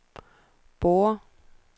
Borre